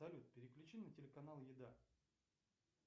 салют переключи на телеканал еда